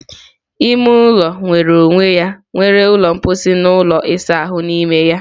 Ime ụlọ nwere onwe ya nwere ụlọ mposi na ụlọ ịsa ahụ n'ime.